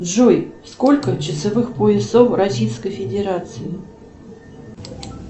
джой сколько часовых поясов в российской федерации